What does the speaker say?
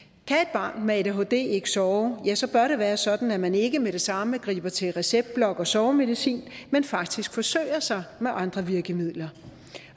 barn med adhd ikke sove ja så bør det være sådan at man ikke med det samme griber til receptblok og sovemedicin men faktisk forsøger sig med andre virkemidler